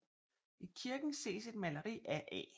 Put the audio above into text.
I kirken ses et maleri af A